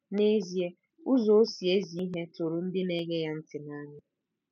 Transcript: N'ezie, 'ụzọ o si ezi ihe tụrụ ndị na-ege ya ntị n'anya.